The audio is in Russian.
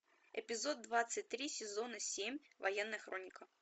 эпизод двадцать три сезона семь военная хроника